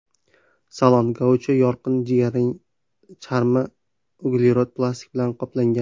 Salon Gaucho yorqin-jigarrang charmi, uglerod plastik bilan qoplangan.